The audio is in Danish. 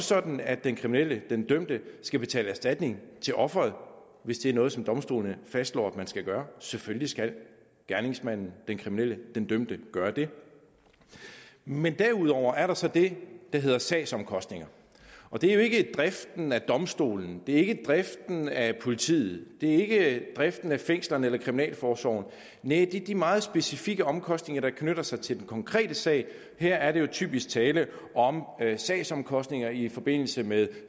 sådan at den kriminelle den dømte skal betale erstatning til offeret hvis det er noget som domstolen fastslår at man skal gøre selvfølgelig skal gerningsmanden den kriminelle den dømte gøre det men derudover er der så det der hedder sagsomkostninger og det er jo ikke driften af domstolen det er ikke driften af politiet det er ikke driften af fængslerne eller kriminalforsorgen næh det er de meget specifikke omkostninger der knytter sig til den konkrete sag her er der jo typisk tale om sagsomkostninger i forbindelse med